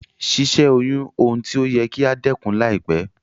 Si sẹ́ oyún oun ti o yẹ kí a dẹ́kun láìpẹ́